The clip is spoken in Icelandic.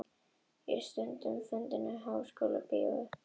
Ég er stundum að hugsa um fundinn sem ég talaði á í Háskólabíói.